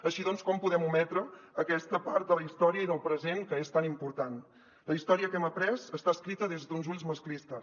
així doncs com podem ometre aquesta part de la història i del present que és tan important la història que hem après està escrita des d’uns ulls masclistes